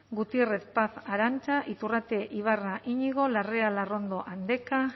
gutiérrez paz arantza iturrate ibarra iñigo larrea larrondo andeka